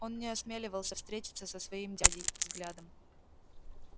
он не осмеливался встретиться со своим дядей взглядом